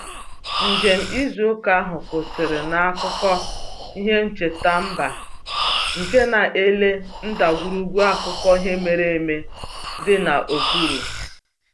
Njem izu ụka ahụ kwụsịrị n'akụkụ ihe ncheta mba nke na-ele ndagwurugwu akụkọ ihe mere eme dị n'okpuru